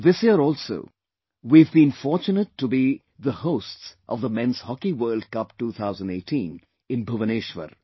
This year also, we have been fortunate to be the hosts of the Men's Hockey World Cup 2018 in Bhubaneshwar